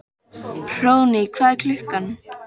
Hróðný, hvað er klukkan?